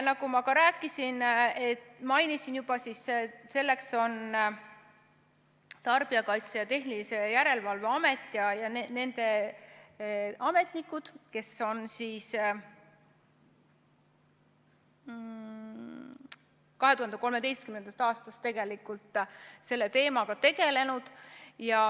Nagu ma juba ka mainisin, on selleks Tarbijakaitse ja Tehnilise Järelevalve Amet ning nende ametnikud, kes on 2013. aastast selle teemaga tegelenud.